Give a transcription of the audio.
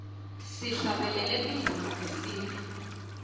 sihlabelele tingoma tesintfu